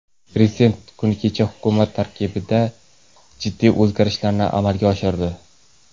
Prezident kuni kecha hukumat tarkibida jiddiy o‘zgarishlarni amalga oshirdi.